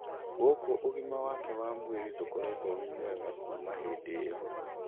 Gũkũ ũgima wake wa mwĩrĩ ndũkoretwo wĩ mwega kuma hĩndĩ iyo